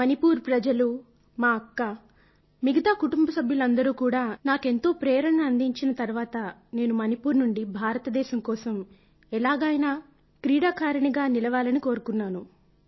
మణిపూర్ ప్రజలు మా అక్క మిగతా కుటుంబ సభ్యులందరూ కూడా నాకెంతో ప్రేరణను అందించిన తరువాత నేను మణిపూర్ నుండి భారతదేశం కోసం ఎలాగైనా క్రీడాకారిణిగా నిలవాలని కోరుకున్నాను